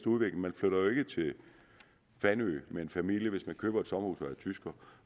udvikling man flytter jo ikke til fanø med en familie hvis man køber et sommerhus og er tysker